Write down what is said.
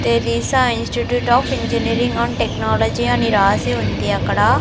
Teresa institute of engineering and technology అని రాసి ఉంది అక్కడ.